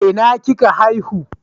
A ina kika haihu?